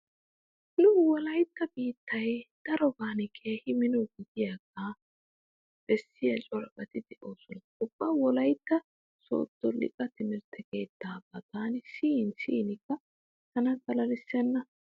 Nu wolaytta biittay daroban keehi mino gidiyogaa bessiya corabati de'oosona. Ubba wolaytta sooddo liqaa timirtte keettaabaa taani siyin siyinkka tan xalalissenna.